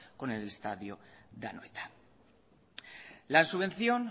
con el estadio de anoeta la subvención